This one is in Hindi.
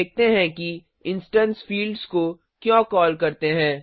अब देखते हैं कि इंस्टेंस फिल्ड्स को क्यों कॉल करते हैं